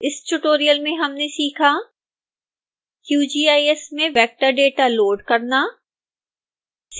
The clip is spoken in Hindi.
इस tutorial में हमने सीखा